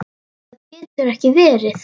Það getur ekki verið!